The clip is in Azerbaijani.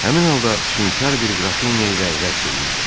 Həmin halda füşünkar bir qrafinya ilə rəqs eləyirdim.